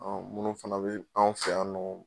munnu fana be anw fɛ yan nɔ